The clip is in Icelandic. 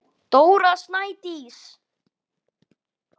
Dóra Snædís.